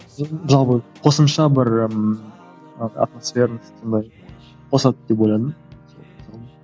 қосымша бір ммм атмосферность қосады деп ойладым